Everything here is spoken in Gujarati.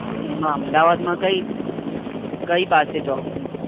એમાં અમદાવાદ માં કયી પાસે જાઉં.